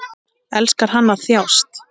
Elskar hann að þjást?